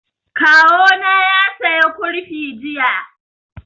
Kawo na ya saya kurfi jiya